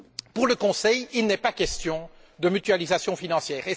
Pour le Conseil, il n'est pas question de mutualisation financière.